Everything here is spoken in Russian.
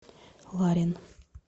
ларин